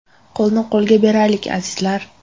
Qo‘lni qo‘lga beraylik, azizlar!